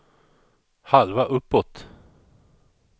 halva uppåt